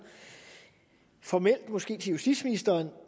formelt måske til justitsministeren